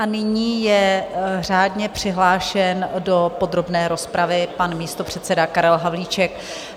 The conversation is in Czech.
A nyní je řádně přihlášen do podrobné rozpravy pan místopředseda Karel Havlíček.